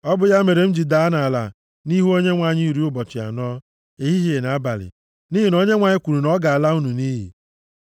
Ọ bụ ya mere m jiri daa nʼala nʼihu Onyenwe anyị iri ụbọchị anọ, ehihie na abalị, nʼihi na Onyenwe anyị kwuru na ọ ga-ala unu nʼiyi.